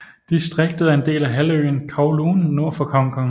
Distriktet er en del af halvøen Kowloon nord for Hongkong